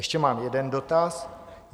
Ještě mám jeden dotaz.